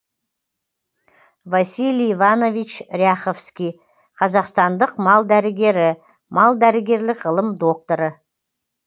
василий иванович ряховский қазақстандық мал дәрігері мал дәрігерлік ғылым докторы